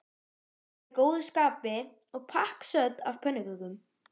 Hún var í góðu skapi og pakksödd af pönnukökum.